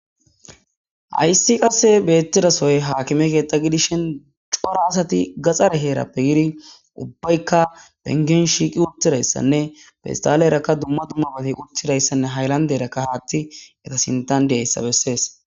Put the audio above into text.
hayssi qasse beettidasoy haakime keeththa gidishin cora asati gaxare heerappe yiri ubbaykka bengin shiiqi uttirayssanne fistale erakka dumma dummabati uttidayssanne haylanderakka haati eta sintan diyayssa bessees